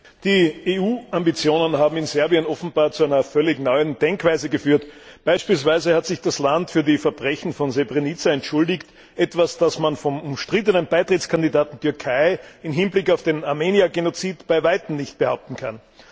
Herr Präsident! Die EU Ambitionen haben in Serbien offenbar zu einer völlig neuen Denkweise geführt. Beispielsweise hat sich das Land für die Verbrechen von Srebrenica entschuldigt, etwas, das man vom umstrittenen Beitrittskandidaten Türkei im Hinblick auf den Armenier Genozid bei Weitem nicht behaupten kann.